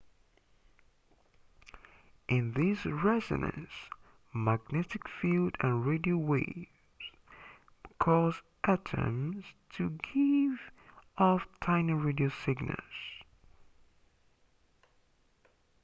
in this resonance magnetic field and radio waves cause atoms to give off tiny radio signals